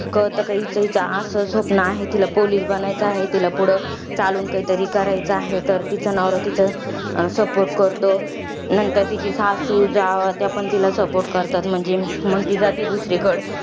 कळतं कि, हिचं असंअसं स्वप्न आहे. तिला police बनायचं आहे. तिला पुढं चालून काहीतरी करायचं आहे तर, तिचा नवरा तिचा support करतो. नंतर तिची सासू, जाव त्यापण तिला support करतात. म्हंजी, मग ती जाती दुसरीकडं.